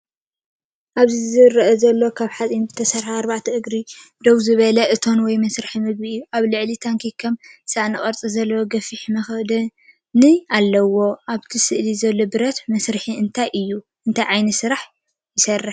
እብዚ ዝርአ ዘሎ ካብ ሓጺን ዝተሰርሐን ብኣርባዕተ እግሩ ደው ዝበለን እቶን ወይ መሳርሒ መግቢ እዩ። ኣብ ላዕሊ ታንኪን ከም ሳእኒ ቅርጺ ዘለዎ ገፊሕ መኽደኒን ኣለዎ። ኣብ ስእሊ ዘሎ ብረት መሳርሒ እንታይ እዩ እንታይ ዓይነት ስራሕ ይሰርሕ?